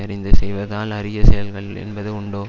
அறிந்து செய்வதால் அரிய செயல்கள் என்பது உண்டோ